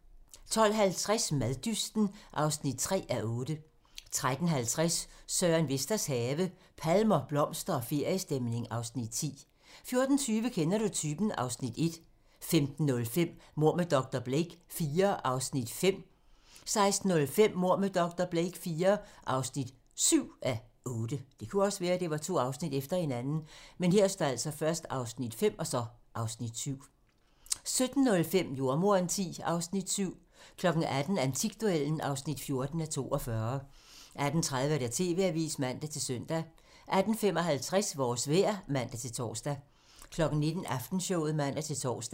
12:50: Maddysten (3:8) 13:50: Søren Vesters have - palmer, blomster og feriestemning (Afs. 10) 14:20: Kender du typen? (Afs. 1) 15:05: Mord med dr. Blake IV (5:8) 16:05: Mord med dr. Blake IV (7:8) 17:05: Jordemoderen X (Afs. 7) 18:00: Antikduellen (14:42) 18:30: TV-avisen (man-søn) 18:55: Vores vejr (man-tor) 19:00: Aftenshowet (man-tor)